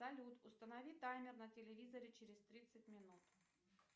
салют установи таймер на телевизоре через тридцать минут